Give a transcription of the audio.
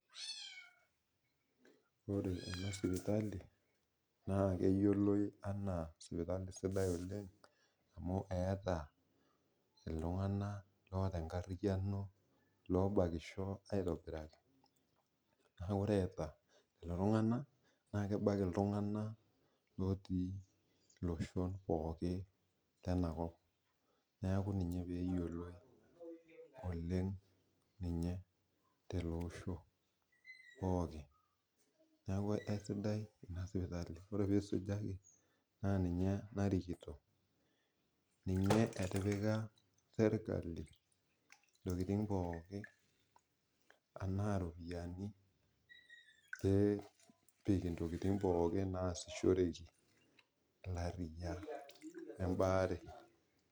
ore enasipitali naa keyioloi oleng enaa sipitali sapuk oleng' amu etaa iltunganak loota enkariyiano sapuk oleng , naa ore eta lelo tunganak naa kebak iltunganak otii iloshon pooki, lenakop neeku ina pee eyioloi ninye tele osho, neeku kisiadai ina sipitali ore pee isujaki naa ninye narikito, serikali intokitin pooki tenaa ilkeek, nepik intokitin pooki nasishoreki ebaare.